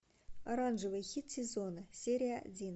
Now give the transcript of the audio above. оранжевый хит сезона серия один